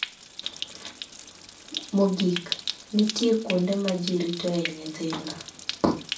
Mogik, nitie kuonde ma ji ritoe nyithindo.